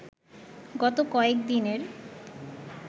গত কয়েক দিনের